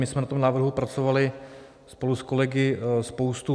My jsme na tom návrhu pracovali spolu s kolegy spoustu...